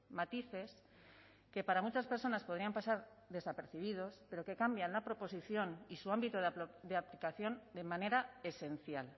matices que para muchas personas podrían pasar desapercibidos pero que cambian la proposición y su ámbito de aplicación de manera esencial